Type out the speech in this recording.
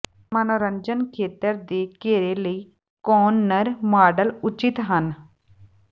ਮਨੋਰੰਜਨ ਖੇਤਰ ਦੇ ਘੇਰੇ ਲਈ ਕੋਨਨਰ ਮਾਡਲ ਉਚਿਤ ਹਨ